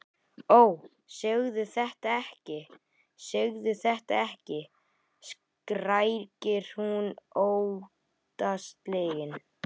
Ó, segðu þetta ekki, segðu þetta ekki, skrækir hún óttaslegin.